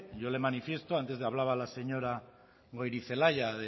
yo le manifiesto antes le hablaba la señora goirizelaia